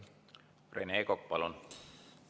Rene Kokk, palun!